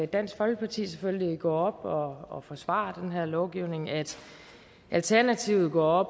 dansk folkeparti selvfølgelig går op og og forsvarer den her lovgivning at alternativet går